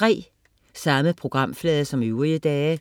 Samme programflade som øvrige dage